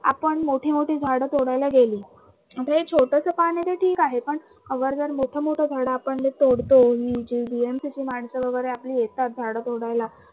आपण मोठे मोठे झाडं तोडायला गेलो ते एक छोटसं पान आहे ते ठीक आहे पण अगर जर मोठे मोठे झाडं आपण जे तोडतो चे माणसं वगरे जी येतात झाडं तोडायला